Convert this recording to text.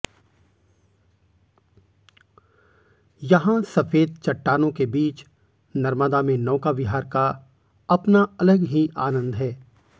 यहा सफेद चट्टानो के बीच नर्मदा में नौका विहार का अपना अलग ही आनंद है